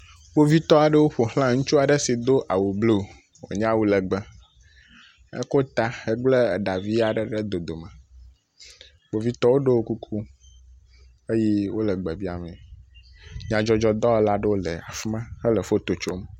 Kpovitɔwo ƒo ʋlã ŋutsu aɖe si do awu bluu, wònye awu lɛgbɛ, eko ta hegblẽ eɖa vi aɖe ɖe dodome. Kpovitɔwo ɖɔ kuku eye wole gbe biamee. Nyadzɔdzɔdɔwɔla aɖewo le fi ma hele foto tsom.